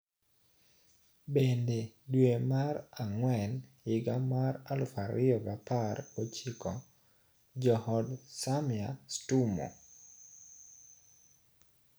Bende dwe mar ang`wen higa mar aluf ariyo gi apar gochiko, jood Samya Stumo,